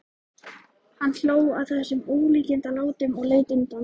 Hann hló að þessum ólíkindalátum og leit undan.